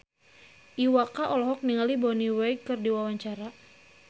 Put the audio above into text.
Iwa K olohok ningali Bonnie Wright keur diwawancara